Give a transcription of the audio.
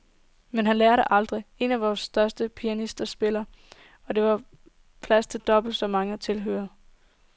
Men han lærer det aldrig. En af vor tids store pianister spillede, og der var plads til dobbelt så mange tilhørere.